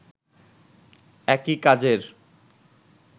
একই কাজের